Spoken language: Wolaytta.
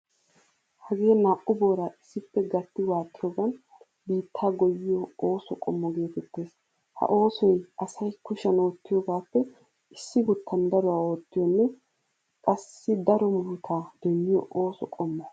Hagee naa"u booraa issippe gatti waaxiyoogan biittaa goyyiyo ooso qommo geetettees. Ha oosoy asay kushiyan oottiyogaappe issi guttan daruwaa oottiyoonne qassi daro muruta demmiyo ooso qommo.